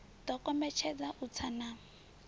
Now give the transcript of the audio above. ḓo kombetshedza u tsa na